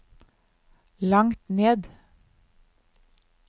langt ned